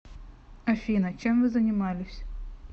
афина чем вы занимались